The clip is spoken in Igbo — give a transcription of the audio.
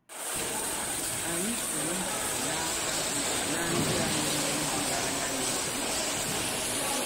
Ányị̀ pụ̀rù ìjidé n’ákà na ndị̀ à nwèrè ìhù̀náńyà na-ékpọ̀ ọ̀kụ́.